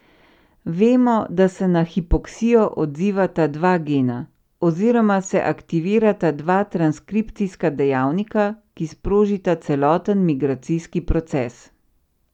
Vemo, da se na hipoksijo odzivata dva gena oziroma se aktivirata dva transkripcijska dejavnika, ki sprožita celoten migracijski proces.